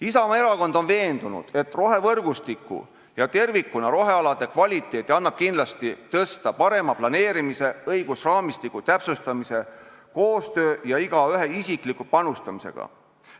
Isamaa Erakond on veendunud, et rohevõrgustiku ja tervikuna rohealade kvaliteeti annab kindlasti tõsta parema planeerimise, õigusraamistiku täpsustamise, koostöö ja igaühe isikliku panustamisega.